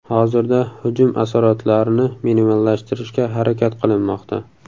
Hozirda hujum asoratlarini minimallashtirishga harakat qilinmoqda.